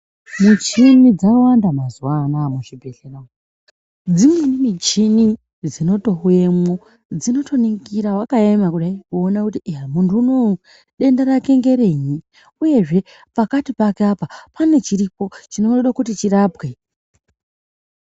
Muchini dzawanda mazuwaanaya muzvibhedlera dzimweni michini dzinotouyemwo dzinotoningira wakaema kudai kuona kuti munthu unou denda rake ngerei uyezve pakati pake pane chiripo chinoda kuti chirapwe.